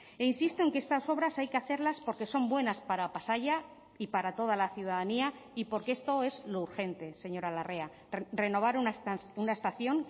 e insisto en que estas obras hay que hacerlas porque son buenas para pasaia y para toda la ciudadanía y porque esto es lo urgente señora larrea renovar una estación